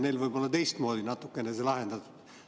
Neil võib olla teistmoodi natukene see lahendatud.